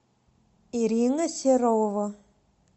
ирина серова